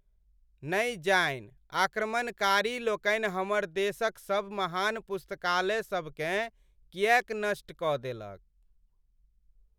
नै जानि आक्रमणकारी लोकनि हमर देशक सभ महान पुस्तकालय सब केँ किएक नष्ट कऽ देलक ।